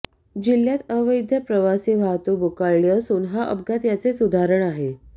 जिल्ह्यात अवैध प्रवासी वाहतूक बोकाळली असून हा अपघात याचेच उदाहरण आहे